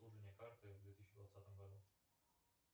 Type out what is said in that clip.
обслуживание карты в две тысячи двадцатом году